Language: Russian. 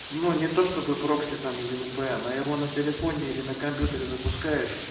ну не то чтобы прокси там или впн а его на телефоне или на компьютере запускаешь